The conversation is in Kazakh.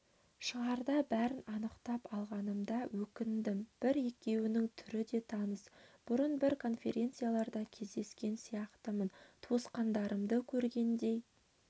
шығарда бәрін анықтап алмағаныма өкіндім бір-екеуінің түрі де таныс бұрын бір конференцияларда кездескен сияқтымын туысқандарымды көргендей